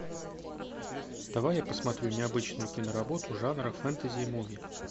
давай я посмотрю необычную киноработу жанра фэнтези и муви